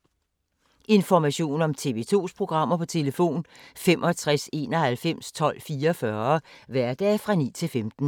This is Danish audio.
Information om TV 2's programmer: 65 91 12 44, hverdage 9-15.